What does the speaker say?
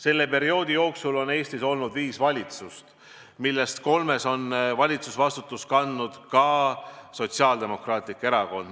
Selle perioodi jooksul on Eestis olnud võimul viis valitsust, millest kolmes on valitsusvastutust kandnud ka Sotsiaaldemokraatlik Erakond.